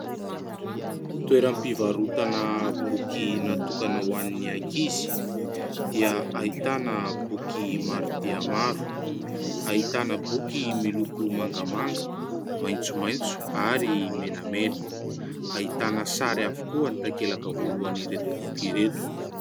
Toeram-pivarotana boky natokana ho an'ny ankizy dia ahitana boky maro dia maro : ahitana boky miloko mangamanga, maitsomaitso ary menamena. Ahitana sary avokoa ny takelak'ireto boky ireto.